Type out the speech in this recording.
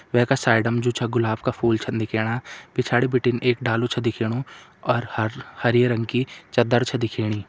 वैका साइड मा जू छ गुलाब का फूल छन दिखेण पिछाड़ी बिटिन एक डालु छ दिखेणु और हर हरी रंग की चदर छ दिखेणी।